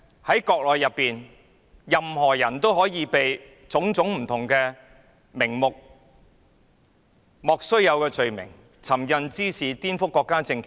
在國內，任何人都可以被冠以各種莫須有的罪名，例如尋釁滋事及顛覆國家政權。